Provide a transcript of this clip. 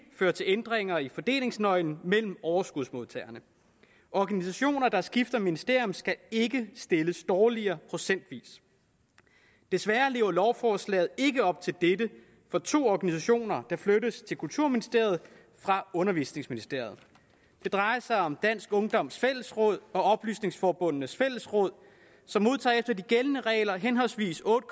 føre til ændringer i fordelingsnøglen mellem overskudsmodtagerne organisationer der skifter ministerium skal ikke stilles dårligere procentvis desværre lever lovforslaget ikke op til dette for to organisationer der flyttes til kulturministeriet fra undervisningsministeriet det drejer sig om dansk ungdoms fællesråd og oplysningsforbundenes fællesråd som modtager efter de gældende regler henholdsvis otte